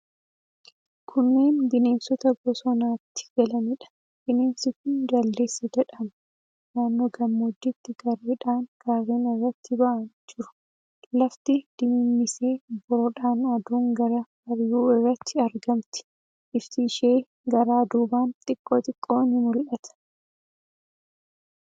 Kunneen bineensota bosonatti galaniidha. Bineensi kun jaldeessa jedhama. Naannoo gammoojjiitti gareedhaan gaarreen irratti ba'anii jiru. Lafti dimimmisee obboroodhaan aduun gara bari'uu irratti argamti. Ifti ishee garaa duubaan xiqqoo xiqqoo ni mul'ata.